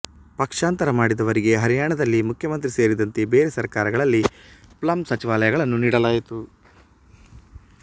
ಪಕ್ಷಾಂತರ ಮಾಡಿದವರಿಗೆ ಹರಿಯಾಣದಲ್ಲಿ ಮುಖ್ಯಮಂತ್ರಿ ಸೇರಿದಂತೆ ಬೇರೆ ಸರ್ಕಾರಗಳಲ್ಲಿ ಪ್ಲಮ್ ಸಚಿವಾಲಯಗಳನ್ನು ನೀಡಲಾಯಿತು